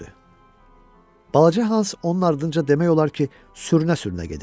Balaca Hans onun ardınca demək olar ki, sürünə-sürünə gedirdi.